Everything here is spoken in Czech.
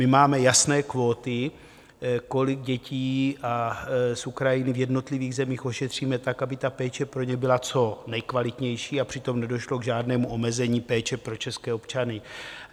My máme jasné kvóty, kolik dětí z Ukrajiny v jednotlivých zemích ošetříme tak, aby ta péče pro ně byla co nejkvalitnější a přitom nedošlo k žádnému omezení péče pro české občany.